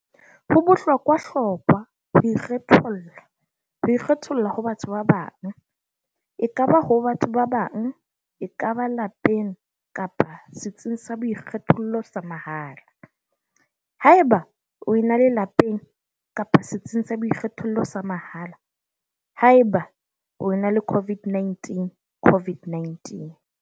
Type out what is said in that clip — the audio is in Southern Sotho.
Ho bohlokwahlokwa ho ikgetholla ho ikgetholla ho batho ba bang, ekaba ho batho ba bang, ekaba lapeng kapa setsing sa boikgethollo sa mahala, haeba o ena le lapeng kapa setsing sa boikgethollo sa mahala, haeba o ena le COVID-19, COVID-19.